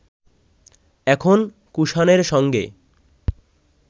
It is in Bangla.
এখন কুষাণের সঙ্গে